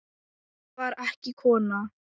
Ég var ekki kona!